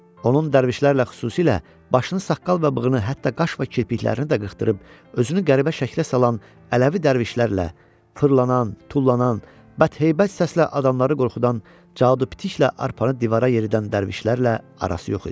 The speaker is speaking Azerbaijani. Onun dərvişlərlə xüsusilə başını saqqal və bığını, hətta qaş və kirpiklərini də qırxdırıb, özünü qəribə şəklə salan Ələvi dərvişlərlə fırlanan, tullanan və heybət səslə adamları qorxudan, cadu pitiklə arpanı divara yeridən dərvişlərlə arası yox idi.